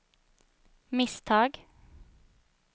misstag